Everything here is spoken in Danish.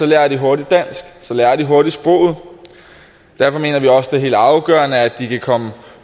lærer de hurtigt dansk så lærer de hurtigt sproget derfor mener vi også det helt afgørende at de kan komme